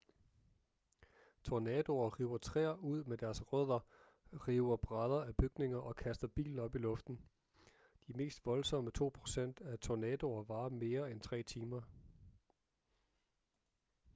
tornadoer river træer ud med deres rødder river brædder af bygninger og kaster biler op i luften de mest voldsomme to procent af tornadoer varer mere end tre timer